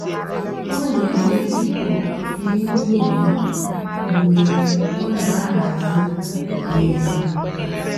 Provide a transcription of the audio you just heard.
ọ́ nà-ège hìp-hòp n'íìmé ụ́lọ́ yá mg̀bé ọ́ nà-àhàzị́ ùwé yá.